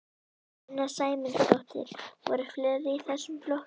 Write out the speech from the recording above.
Sunna Sæmundsdóttir: Voru fleiri í þessum flokki?